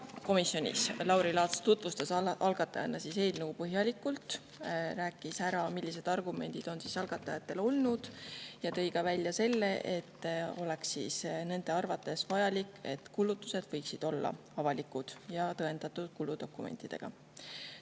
Komisjonis tutvustas Lauri Laats algatajana eelnõu põhjalikult, rääkis ära, millised argumendid algatajatel on, ja tõi välja ka selle, et nende arvates on vajalik, et kulutused oleksid avalikud ja tõendatud kuludokumentidega.